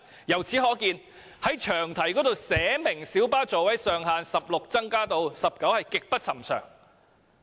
由此可見，在詳題中寫明將小巴座位上限由16個增至19個的做法極不尋常。